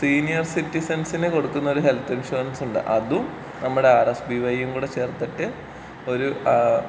senior സിറ്റിസൻസിന് കൊടുക്കുന്ന ഒരു ഹെൽത്ത് ഇൻഷുറൻസ് ഉണ്ട് അതും നമ്മുടെ ആർ എസ് ബീ വയ്യും കൂടെ ചേർത്തിട്ട് ഒരു ഏഹ്